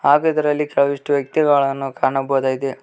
ಹಾಗೆ ಇದರಲ್ಲಿ ಕೆಲವಷ್ಟು ವ್ಯಕ್ತಿಗಳನ್ನು ಕಾಣಬಹುದಾಗಿದೆ.